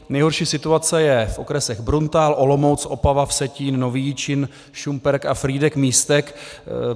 Nejhorší situace je v okresech Bruntál, Olomouc, Opava, Vsetín, Nový Jičín, Šumperk a Frýdek-Místek.